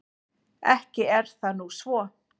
Ekki er það nú svo.